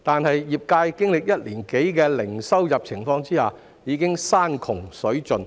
可是，經歷一年多零收入的情況後，業界已山窮水盡。